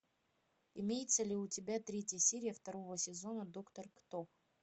имеется ли у тебя третья серия второго сезона доктор кто